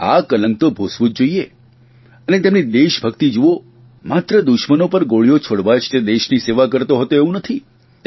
આ કલંક તો ભૂંસવું જ જોઇએ અને તેમની દેશભકિત જુઓ માત્ર દુશ્મનો પર ગોળીઓ છોડવા જ તે દેશની સેવા કરતો હતો એવું નથી